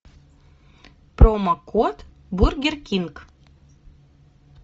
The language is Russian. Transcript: промо код бургер кинг